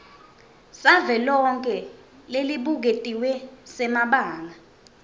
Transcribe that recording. savelonkhe lesibuketiwe semabanga